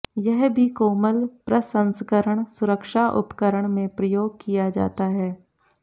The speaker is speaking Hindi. यह भी कोमल प्रसंस्करण सुरक्षा उपकरण में प्रयोग किया जाता है